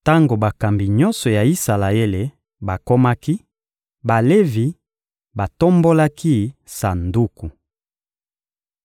Tango bakambi nyonso ya Isalaele bakomaki, Balevi batombolaki Sanduku.